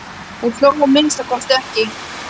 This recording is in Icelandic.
Hún hló að minnsta kosti ekki.